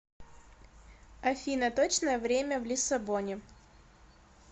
афина точное время в лиссабоне